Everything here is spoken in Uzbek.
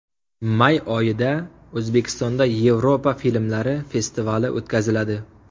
May oyida O‘zbekistonda Yevropa filmlari festivali o‘tkaziladi.